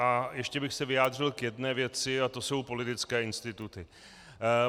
A ještě bych se vyjádřil k jedné věci a to jsou politické instituty.